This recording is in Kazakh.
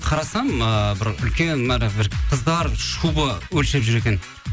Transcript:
қарасам ыыы бір үлкен қыздар шуба өлшеп жүр екен